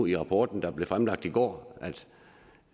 i rapporten der blev fremlagt i går